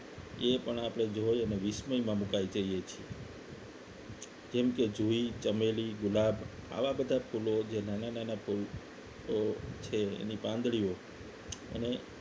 એ પણ આપણે જોઈ અને વિશ્વમય માં મુકાય જઈએ છીએ જેમ કે જુઈ ચમેલી ગુલાબ આવા બધા ફૂલો જે નાના નાના ફુલોઓ છે એની પાંદડીઓ અને